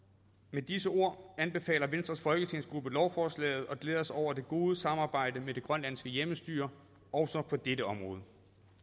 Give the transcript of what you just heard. med disse ord anbefaler venstres folketingsgruppe lovforslaget og glæder sig over det gode samarbejde med det grønlandske hjemmestyre også på dette område